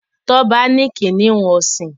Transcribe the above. Toba ní kìnìún ọsin.